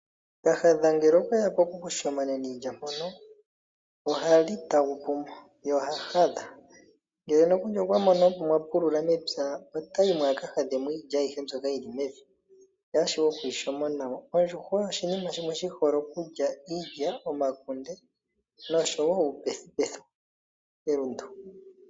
Kahadha ngele okweya poku kushimona iilya mpono ohali tagupumo ye oha hadha. Ngele okwa mono aantu ya pulula mepya ohayi aka hadhemo iilya ayihe eyi lyemo Ondjuhwa oshinima shimwe shi hole okulya omakunde, iilya noshowo uupethupethu melundu.